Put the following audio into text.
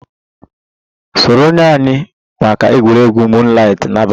Sonyere anyị maka egwuregwu moonlight n'abalị a!